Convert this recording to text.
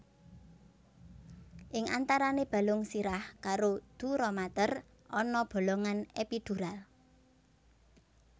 Ing antarane balung sirah karo duramater ana bolongan epidural